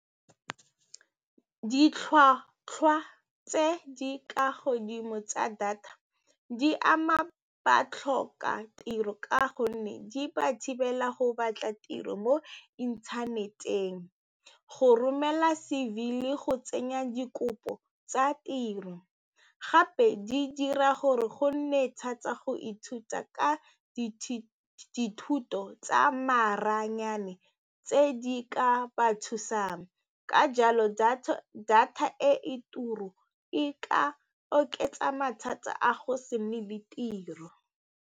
Ditlhwatlhwa tse di kwa godimo tsa data di ama batlhokatiro ka gonne di ba thibela go batla tiro mo inthaneteng, go romela C_V le go tsenya dikopo tsa tiro gape di dira gore go nne thata go ithuta ka dithuto tsa maranyane tse di ka ba thusang ka jalo data data e turang e ka oketsa mathata a go se nne le tiro.